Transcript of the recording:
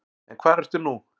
En hvar ertu nú?